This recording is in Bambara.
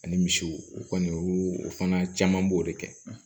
Ani misiw u kɔni u fana caman b'o de kɛ